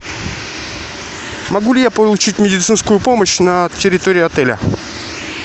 могу ли я получить медицинскую помощь на территории отеля